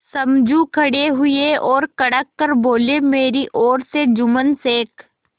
समझू खड़े हुए और कड़क कर बोलेमेरी ओर से जुम्मन शेख